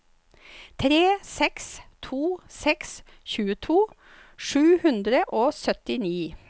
tre seks to seks tjueto sju hundre og syttini